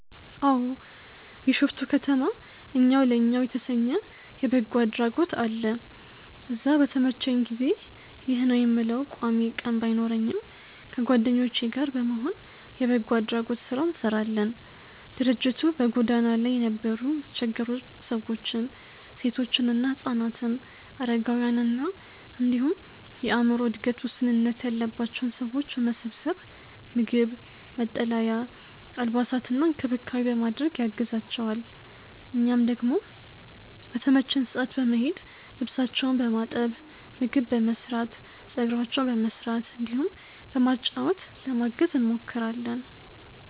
አዎ። ቢሾፍቱ ከተማ እኛው ለእኛው የተሰኘ የበጎ አድራጎት አለ። እዛ በተመቸኝ ጊዜ (ይህ ነው የምለው ቋሚ ቀን ባይኖረኝም) ከጓደኞቼ ጋር በመሆን የበጎ አድራጎት ስራ እንሰራለን። ድርጅቱ በጎዳና ላይ የነበሩ የተቸገሩ ሰዎችን፣ ሴቶችና ህፃናትን፣ አረጋውያንን እንዲሁም የአዕምሮ እድገት ውስንነት ያለባቸውን ሰዎች በመሰብሰብ ምግብ፣ መጠለያ፣ አልባሳትና እንክብካቤ በማድረግ ያግዛቸዋል። እኛም ደግሞ በተመቸን ሰዓት በመሄድ ልብሳቸውን በማጠብ፣ ምግብ በመስራት፣ ፀጉራቸውን በመስራት እንዲሁም በማጫወት ለማገዝ እንሞክራለን።